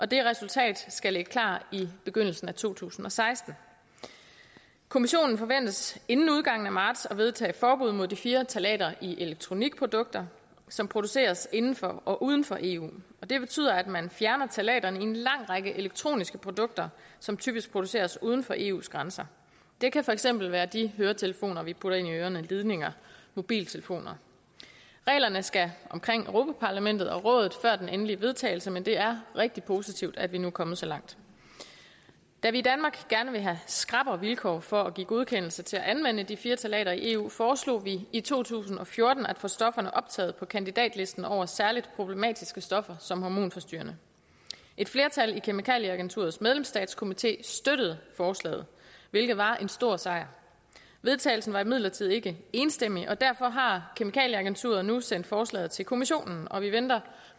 det resultat skal ligge klar i begyndelsen af to tusind og seksten kommissionen forventes inden udgangen af marts at vedtage et forbud mod de fire ftalater i elektronikprodukter som produceres inden for og uden for eu det betyder at man fjerner ftalaterne i en lang række elektroniske produkter som typisk produceres uden for eus grænser det kan for eksempel være de høretelefoner vi putter ind i ørerne ledninger og mobiltelefoner reglerne skal omkring europa parlamentet og rådet før den endelige vedtagelse men det er rigtig positivt at vi nu er kommet så langt da vi i danmark gerne vil have skrappere vilkår for at give godkendelse til at anvende de fire ftalater i eu foreslog vi i to tusind og fjorten at få stofferne optaget på kandidatlisten over særlig problematiske stoffer som er hormonforstyrrende et flertal i kemikalieagenturets medlemsstatskomité støttede forslaget hvilket var en stor sejr vedtagelsen var imidlertid ikke enstemmig og derfor har kemikalieagenturet nu sendt forslaget til kommissionen og vi venter